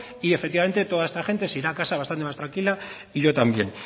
y efectivamente toda esta gente se irá a casa bastante más tranquila y yo también